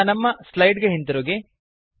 ಈಗ ನಮ್ಮ ಸ್ಲೈಡ್ ಗೆ ಹಿಂದಿರುಗಿ